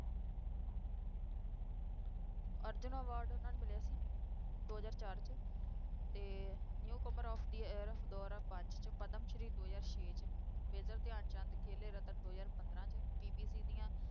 Arjun award ਉਹਨਾਂ ਨੂੰ ਮਿਲਿਆ ਸੀ ਦੋ ਹਜ਼ਾਰ ਚਾਰ 'ਚ ਤੇ newcomer of the year ਦੋ ਹਜ਼ਾਰ ਪੰਜ 'ਚ, ਪਦਮ ਸ਼੍ਰੀ ਦੋ ਹਜ਼ਾਰ ਛੇ 'ਚ, ਮੇਜਰ ਧਿਆਨ ਚੰਦ ਖੇਲ ਰਤਨ ਦੋ ਹਜ਼ਾਰ ਪੰਦਰਾਂ 'ਚ BBC ਦੀਆਂ